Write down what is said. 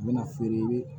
N bɛna feere